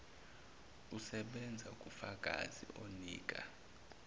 usebenza kufakazi onika